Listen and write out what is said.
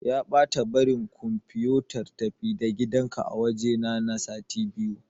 Ya ɓata bari kumfiyotar-tafi-da-gidanka a wajena na sati biyu.